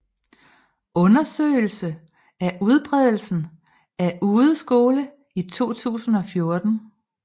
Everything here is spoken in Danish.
Undersøgelse af udbredelsen af udeskole i 2014